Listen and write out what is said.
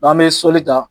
N'an bɛ sɔli ta